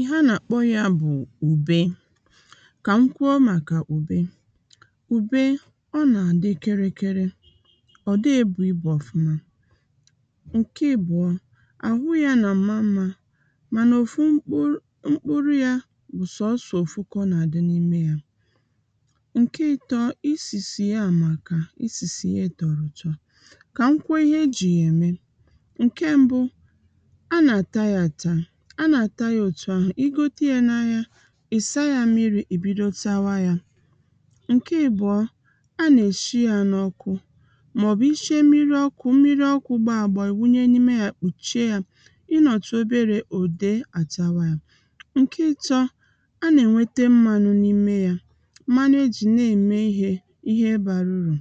ihe a nà-àkpọ yā bụ̀ ùbe kà m kʷuo màkà ùbe ùbe ọ nà-àdị kịrịkịrị ọ̀ dịghị ebù ibù ọ̀fụma ǹke ìbụọ àhụ yā nà-àma mmā mànà ọ̀fu mkpụrụ yā bụ̀ sọsọ̀ òfu kà ọ nà-àdị n’ime yā ǹke ịtọ̄ isìsì ya àmaka isìsì ye tọ̀rọ̀ ụ̀tọ kà m kwuo ihe ejì yà ème ǹke mbụ a nà-àta yā àta a nà-àta yā òtù ahụ̀ ịgote yā n’ahịa ìsa yā mmirī ìbido tawa yā ǹke ìbụọ a nà-èshi yā n’ọkụ mà ọ̀bù ishiē mmirī ọkụ̄ mmirī ọkụ̄ gbụọ àgbọ ìwunye n’ime ya kpùchie ya ịnọ̀tụ oberē òde àtawa ya ǹke ịtọ̄ a nà-ènwete mmanụ n’ime yā mmanụ ejì na-ème ihe ihe bara urù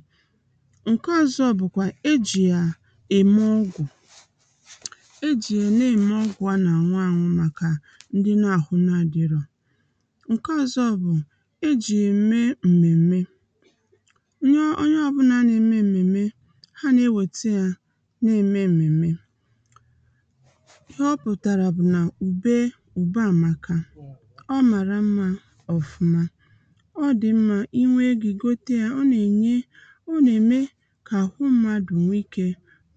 ǹke ọ̀zọkwa bụ̀ kwà ejì yà ème ugwù ejì yà n’ème ọgwụ̀ a nà-àṅụ àṅụ màkà ndị n’àhụ adịrọ ǹke ọ̀zọ bụ̀ ejì yà ème m̀mèmme onye ọbụnà na-ème m̀mèmme ha nà-ewèta ya na ème m̀mèmme ihe ọ pụ̀tàrà bụ̀ n’ùbe àmáka ọ màrà mmā ọ̀fụma ọ dì mmā inwē egō ìgote yā ọ nà-ème kà àhụ mmadù nwe ikē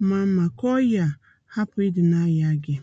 maa mmā kà ọyà hapụ̀ ịdị na-ayà gị